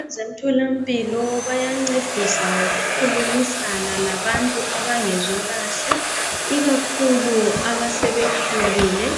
Abezemtholampilo bayancedisa ngokukhulumisana labantu abangezwakahle ikakhulu abasebekhulile.